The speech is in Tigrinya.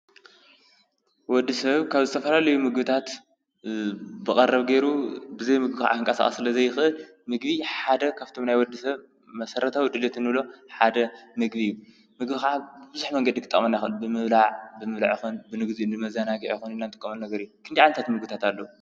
ወዲሰብ ካብ ዝተፈላለየ ምግብታት ብቀረብ ገይሩ ብዘየምግቢ ክንቀሳቀስ ስለ ዘይክእል ምግቢ ካብቶም ሓደ ናይ ወዲሰብ መሰራታዊ ድሌት እንብሎም ሓደ ምግቢ እዩ። ምግቢ ከዓ ብብዙሕ መንገዲ ክጠቅመና ይክእል። ብምብላዕ ይኩን ንግዚኡ ንመዘናጊዒ ይኩን ንጥቀመሉ ነገር እዩ ። ክንደይ ዓይነታት ምግቢ ኣለው?